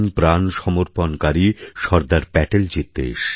প্রাণ সমর্পণকারী সর্দার প্যাটেলজীর দেশ